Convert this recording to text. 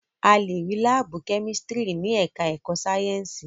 A lè rí láàbù kẹ́mísítírì ní ẹ̀ká ẹ̀kọ́ Sáyẹ̀nsì